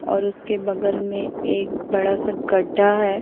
और उसके बगल में एक बड़ा-सा गड्ढा है।